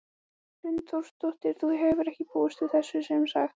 Hrund Þórsdóttir: Þú hefur ekki búist við þessu sem sagt?